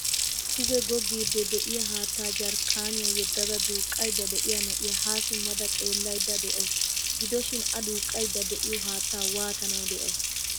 Duge goggiidi de'iyaa haattaa jarkkaniya yeddada duuqaydda de'iya na'iya ha simmada xeellaydda de'awusu. Gidoshin A duuqaydda de'iyo haattaa waattanawu de'ay?